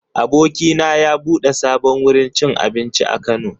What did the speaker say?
Abokina ya bude sabon wurin abinci a Kano.